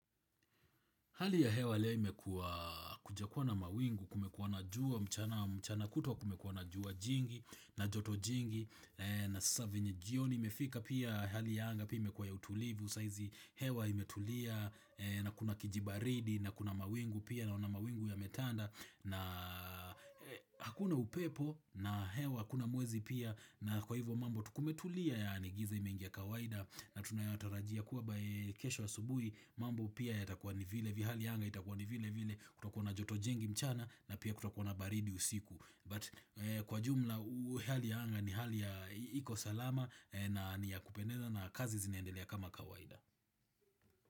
Hali ya hewa leo imekuwa kujakuwa na mawingu kumekuwa na jua mchana kutwa kumekuwa na juwa jingi na joto jingi na sasa venye jioni imefika pia hali ya anga imekuwa ya utulivu sahizi hewa imetulia na kuna kijibaridi na kuna mawingu pia naona mawingu yametanda na hakuna upepo na hewa hakuna mwezi pia na kwa hivyo mambo tu kumetulia yaani giza imeingia kawaida na tunayatarajia kuwa yeye kesho asubuhi mambo pia yatakuwa ni vile vile hali ya anga itakua Kwa ni vile vile kutakua na joto jingi mchana na pia kutakua na baridi usiku But kwa jumla hali ya anga ni hali ya iko salama na ni ya kupendeza na kazi zinaendelea kama kawaida.